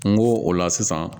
N go o la sisan